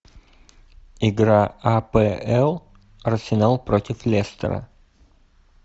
игра апл арсенал против лестера